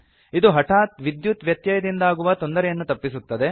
ಇದು ಹಠಾತ್ ವಿದ್ಯುತ್ ವ್ಯತ್ಯಯದಿಂದಾಗುವ ತೊಂದರೆಯನ್ನು ತಪ್ಪಿಸುತ್ತದೆ